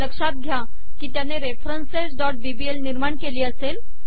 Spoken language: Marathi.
लक्ष्यात घ्या कि त्याने referencesबीबीएल निर्माण केली असेल